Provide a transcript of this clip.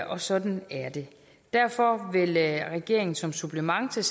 og sådan er det derfor vil regeringen som supplement til